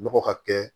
Nɔgɔ ka kɛ